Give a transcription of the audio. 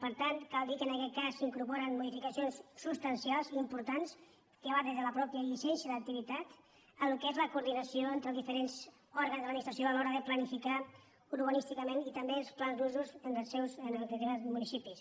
per tant cal dir que en aquest cas s’hi incorporen mo·dificacions substancials importants que van des de la mateixa llicència d’activitat al que és la coordinació entre els diferents òrgans de l’administració a l’hora de planificar urbanísticament i també els plans d’usos en determinats municipis